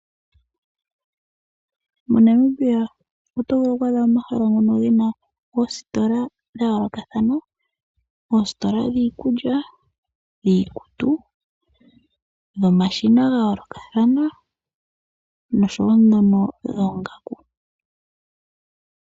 MoNamibia oto vulu okwaadha mo omahala ngono ge na oositola dha yoolokathana. Oositola dhiikulya, dhiikutu, dhomashina ga yoolokathana nosho wo ndhono dhoongaku.